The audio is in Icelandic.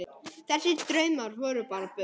Þessir draumar voru bara bull.